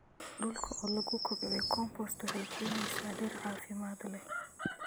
Dhulka oo lagu kobciyo compost waxay keenaysaa dhir caafimaad leh.